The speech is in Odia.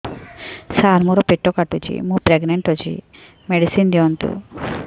ସାର ମୋର ପେଟ କାଟୁଚି ମୁ ପ୍ରେଗନାଂଟ ଅଛି ମେଡିସିନ ଦିଅନ୍ତୁ